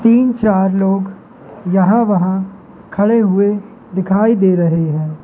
तीन चार लोग यहां वहां खड़े हुए दिखाई दे रहे हैं।